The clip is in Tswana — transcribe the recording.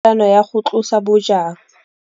anô ya go tlosa bojang.